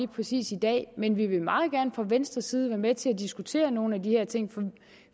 præcis i dag men vi vil meget gerne fra venstres side være med til at diskutere nogle af de her ting